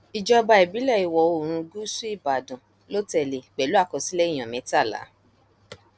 ìjọba ìbílẹ ìwọoòrùn gúúsù ìbàdàn ló tẹlé e pẹlú àkọsílẹ èèyàn mẹtàlá